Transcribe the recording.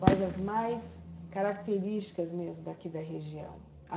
Quais as mais características mesmo daqui da região?